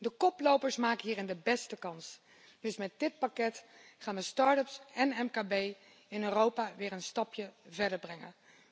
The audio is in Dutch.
De koplopers maken hierin de beste kans, dus met dit pakket gaan wij start ups en mkb in Europa weer een stapje verder brengen.